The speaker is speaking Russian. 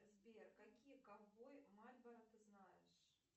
сбер какие ковбои мальборо ты знаешь